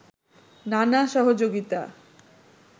নানা সহযোগিতা